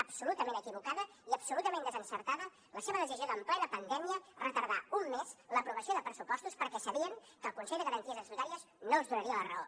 absolutament equivocada i absolutament desencertada la seva decisió de en plena pandèmia retardar un mes l’aprovació de pressupostos perquè sabien que el consell de garanties estatutàries no els donaria la raó